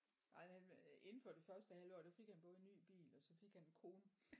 Ej han blev inden for det første halve år der fik han både en ny bil og så fik han en kone